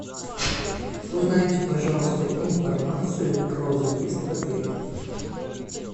узнайте пожалуйста информацию про заезд в отеле